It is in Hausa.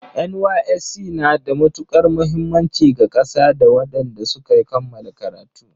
NYSC na da matukar muhimmanci ga ƙasa da wadanda suka kammala karatu